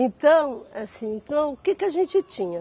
Então, assim, então o que que a gente tinha?